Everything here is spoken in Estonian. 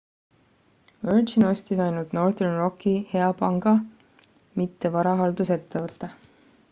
"virgin ostis ainult northern rocki "hea panga" mitte varahaldusettevõtte.